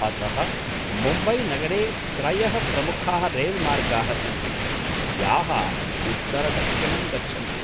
अतः मुम्बैनगरे त्रयः प्रमुखाः रैल्मार्गाः सन्ति, याः उत्तरदक्षिणं गच्छन्ति।